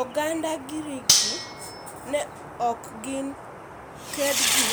Oganda giriki ne ok gin kendgi